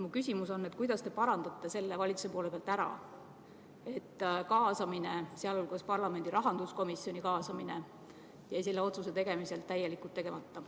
Mu küsimus on, kuidas te parandate valitsuse poole pealt selle, et kaasamine, sealhulgas parlamendi rahanduskomisjoni kaasamine, jäi selle otsuse puhul täielikult tegemata.